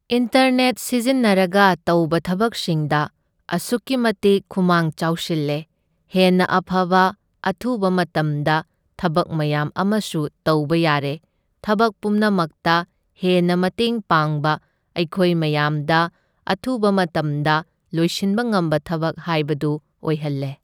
Internet ꯁꯤꯖꯤꯟꯅꯔꯒ ꯇꯧꯕ ꯊꯕꯛꯁꯤꯡꯗ ꯑꯁꯨꯛꯀꯤ ꯃꯇꯤꯛ ꯈꯨꯃꯥꯡ ꯆꯥꯎꯁꯤꯜꯂꯦ, ꯍꯦꯟꯅ ꯑꯐꯕ ꯑꯊꯨꯕ ꯃꯇꯝꯗ ꯊꯕꯛ ꯃꯌꯥꯝ ꯑꯃꯁꯨ ꯇꯧꯕ ꯌꯥꯔꯦ, ꯊꯕꯛ ꯄꯨꯝꯅꯃꯛꯇ ꯍꯦꯟꯅ ꯃꯇꯦꯡ ꯄꯥꯡꯕ ꯑꯩꯈꯣꯏ ꯃꯌꯥꯝꯗ ꯑꯊꯨꯕ ꯃꯇꯝꯗ ꯂꯣꯏꯁꯤꯟꯕ ꯉꯝꯕ ꯊꯕꯛ ꯍꯥꯏꯕꯗꯨ ꯑꯣꯏꯍꯜꯂꯦ꯫